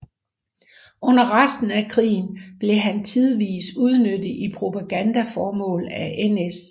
Under resten af krigen blev han tidvis udnyttet i propagandaformål af NS